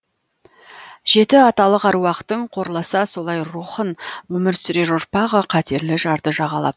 жеті аталық әруақтың қорласа солай рухын өмір сүрер ұрпағы қатерлі жарды жағалап